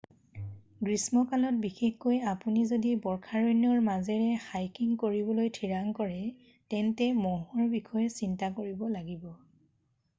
গ্ৰীষ্মকালত বিশেষকৈ আপুনি যদি বৰ্ষাৰণ্যৰ মাজেৰে হাইকিং কৰিবলৈ ঠিৰাং কৰে তেন্তে মহৰ বিষয়ে চিন্তা কৰিব লাগিব